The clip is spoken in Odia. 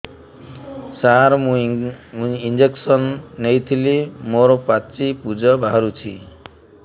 ସାର ମୁଁ ଇଂଜେକସନ ନେଇଥିଲି ମୋରୋ ପାଚି ପୂଜ ବାହାରୁଚି